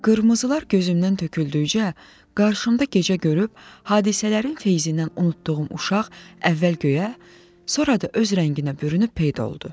Qırmızılar gözümdən töküldükcə, qarşımda gecə görüb hadisələrin feyzindən unutduğum uşaq əvvəl göyə, sonra da öz rənginə bürünüb peyda oldu.